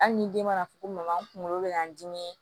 Hali ni den mana fɔ ko n kunkolo bɛ k'an dimi